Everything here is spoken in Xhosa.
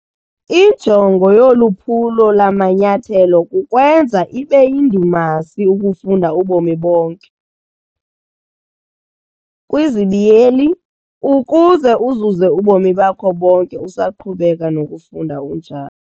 Injongo yoluphulo lamanyathelo kukwenza ibeyindumasi ukufunda ubomi bonke, ukuze uzuze ubomi bakho bonke usaqhubeka nokufunda unjalo.